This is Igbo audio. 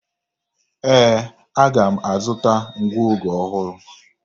Ee, aga m azụta ngụoge ọhụrụ.